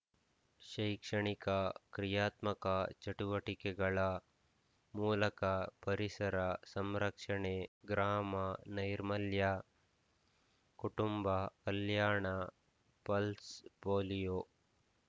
ಶೈಕ್ಷಣಿಕ ಕ್ರಿಯಾತ್ಮಕ ಚಟುವಟಿಕೆಗಳ ಮೂಲಕ ಪರಿಸರ ಸಂರಕ್ಷಣೆ ಗ್ರಾಮ ನೈರ್ಮಲ್ಯ ಕುಟುಂಬ ಕಲ್ಯಾಣ ಪಲ್ಸ್‌ ಪೋಲಿಯೊ